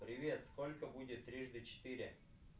привет сколько будет трижды четыре